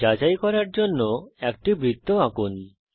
যাচাই করার জন্যএকটি বৃত্ত আঁকুন